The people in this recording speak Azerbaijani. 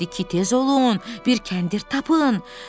Dedi ki, tez olun, bir kəndir tapın.